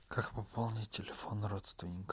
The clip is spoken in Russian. как пополнить телефон родственника